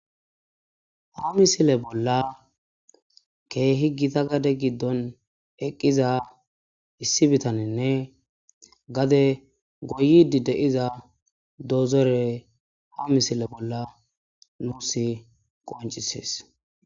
ha misile bolla keehi gita gade giddon eqqiza issi bitaninne gade goyidi de7iza dozore ha misile bolla nuusi qoncisees.